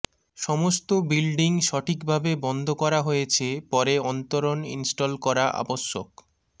সমস্ত বিল্ডিং সঠিকভাবে বন্ধ করা হয়েছে পরে অন্তরণ ইনস্টল করা আবশ্যক